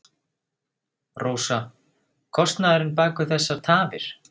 Rósa: Kostnaðurinn bak við þessar tafir?